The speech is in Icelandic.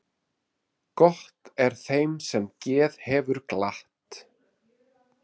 Gott er þeim sem geð hefur glatt.